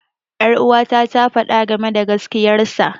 Ƴaruwata ta faɗa game da gaskiyar sa.